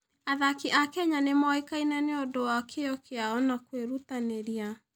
Athaki a Kenya nĩ moĩkaine nĩ ũndũ wa kĩyo kĩao na kwĩrutanĩria.